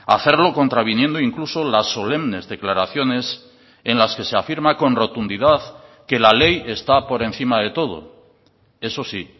hacerlo contraviniendo incluso las solemnes declaraciones en las que se afirma con rotundidad que la ley está por encima de todo eso sí